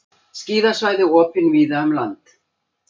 Skíðasvæði opin víða um land